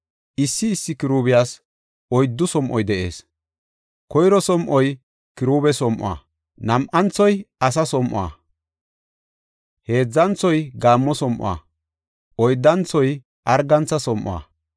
Issi issi Kiruubiyas oyddu som7oy de7ees. Koyro som7oy kiruube som7o, nam7anthoy asa som7o, heedzanthoy gaammo som7o; oyddanthoy argantha som7o.